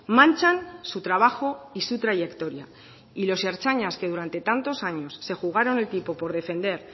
manchan su trabajo y su trayectoria y los ertzainas que durante tantos años se jugaron el tipo por defender